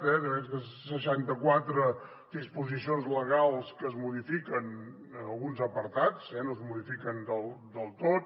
aquestes seixanta quatre disposicions legals que es modifiquen en alguns apartats eh no es modifiquen del tot